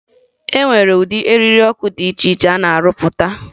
E nwere ụdị eriri ọkụ dị iche iche a na-arụpụta